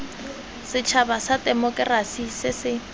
setšhaba sa temokerasi se se